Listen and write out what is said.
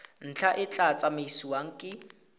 ntlha e tla tsamaisiwa ke